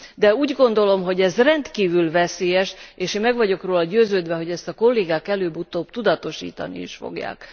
De úgy gondolom, hogy ez rendkívül veszélyes, és én meg vagyok róla győződve, hogy ezt a kollégák előbb utóbb tudatosítani is fogják.